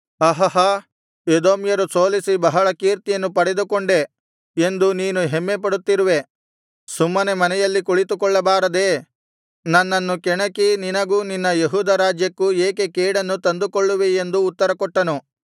ಅಹಹ ಎದೋಮ್ಯರನ್ನು ಸೋಲಿಸಿ ಬಹಳ ಕೀರ್ತಿಯನ್ನು ಪಡಕೊಂಡೆ ಎಂದು ನೀನು ಹೆಮ್ಮೆಪಡುತಿರುವೆ ಸುಮ್ಮನೆ ಮನೆಯಲ್ಲಿ ಕುಳಿತುಕೊಳ್ಳಬಾರದೇ ನನ್ನನ್ನು ಕೆಣಕಿ ನಿನಗೂ ನಿನ್ನ ಯೆಹೂದ ರಾಜ್ಯಕ್ಕೂ ಏಕೆ ಕೇಡನ್ನು ತಂದುಕೊಳ್ಳುವೆ ಎಂದು ಉತ್ತರಕೊಟ್ಟನು